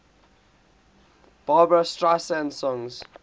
barbra streisand songs